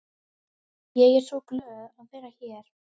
Ég er svo glöð að vera hér.